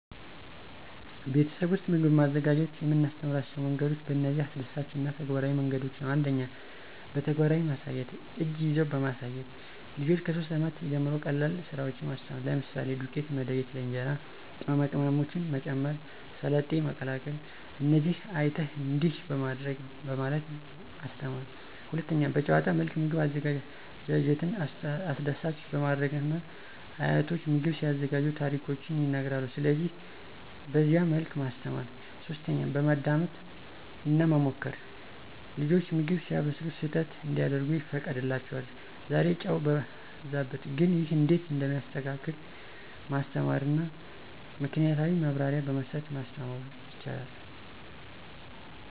ቤተሰብ ውስጥ ምግብ ማዘጋጀት የምናስተምራቸው መንገዶች በእነዚህ አስደሳች እና ተግባራዊ መንገዶች ነው። 1, በተግባራዊ ማሳያት (እጅን ይዘው በማሳየት) • ልጆች ከ3 ዓመት ጀምሮ ቀላል ስራዎችን ማስተማር፣ ለምሳሌ፦ • ዱቄት መለየት (ለእንጀራ) • ቅመማ ቅመሞችን መጨመር • ሰላጤ መቀላቀል • "እዚህ አይተህ፣ እንዲህ በማድረግ..." በማለት ማስተማራ። 2, በጨዋታ መልክ ምግብ አዘጋጀትን አስደሳች በማድረግና አያቶች ምግብ ሲያዘጋጁ ታሪኮችን ይነግራሉ ስለዚህ በዚያ መልክ ማስተማር። 3, በማዳመጥ እና መሞከር • ልጆች ምግብ ሲያበስሉ ስህተት እንዲያደርጉ ይፈቀድላቸዋል • "ዛሬ ጨው በዛበት፣ ግን ይህ እንዴት እንደሚስተካከል ማስተማርና "ምክናያታዊ ማብራሪያ በመስጠ ማስተማሩ ይቻላል።